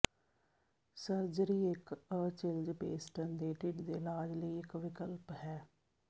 surgery ਇੱਕ Achilles ਪੇਸਟਨ ਦੇ ਢਿੱਡ ਦੇ ਇਲਾਜ ਲਈ ਇੱਕ ਵਿਕਲਪ ਹੈ